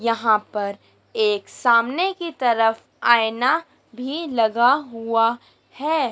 यहां पर एक सामने की तरफ आएना भी लगा हुआ है।